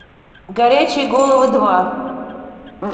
горячие головы два